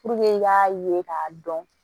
i k'a ye k'a dɔn